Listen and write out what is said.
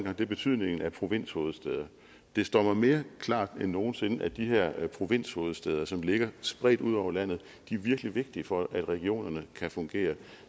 er betydningen af provinshovedstæder det står mig mere klart end nogen sinde at de her provinshovedstæder som ligger spredt ud over landet er virkelig vigtige for at regionerne kan fungere